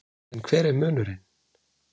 En hver er munurinn?